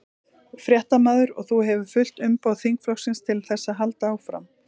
Fréttamaður: Og þú hefur fullt umboð þingflokksins til þess að halda áfram?